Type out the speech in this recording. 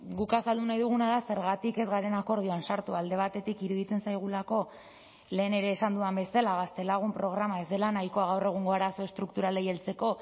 guk azaldu nahi duguna da zergatik ez garen akordioan sartu alde batetik iruditzen zaigulako lehen ere esan dudan bezala gaztelagun programa ez dela nahikoa gaur egungo arazo estrukturalei heltzeko